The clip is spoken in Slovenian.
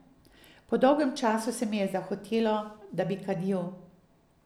Po dolgem času se mi je zahotelo, da bi kadil.